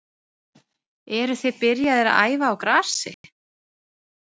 Eruð þið byrjaðir að æfa á grasi?